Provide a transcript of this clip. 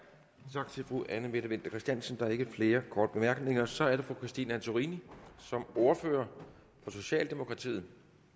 tak til fru anne mette winther christiansen der er ikke flere korte bemærkninger og så er det fru christine antorini som ordfører for socialdemokratiet